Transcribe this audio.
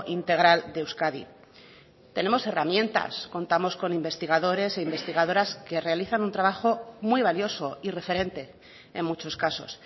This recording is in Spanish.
integral de euskadi tenemos herramientas contamos con investigadores e investigadoras que realizan un trabajo muy valioso y referente en muchos casos